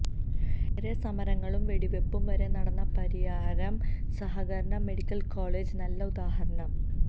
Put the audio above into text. ഏറെ സമരങ്ങളും വെടിവപ്പും വരെ നടന്ന പരിയാരം സഹകരണ മെഡിക്കൽ കോളെജ് നല്ല ഉദാഹരണം